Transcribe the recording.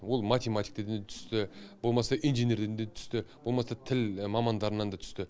ол математиктерден түсті болмаса инженерден де түсті болмаса тіл мамандарынан да түсті